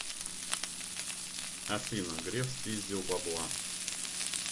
афина греф спиздил бабла